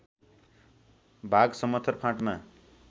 भाग समथर फाँटमा